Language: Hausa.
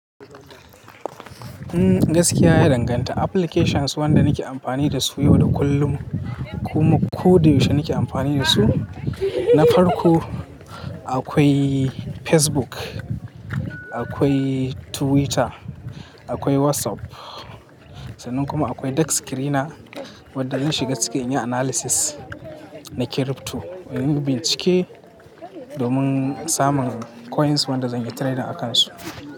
Gaskiya ya danganta applications wanda nake amfani da su yau da kullum. Kuma ko da yaushe nake amfani da su. Na farko akwai Facebook, akwai Twitter, akwai WhatsApp. Sannan kuma akwai Dex Screener wadda in shiga ciki in yi analysis na crypto. In bincike domin samun coins wanda zan yi trading akansu.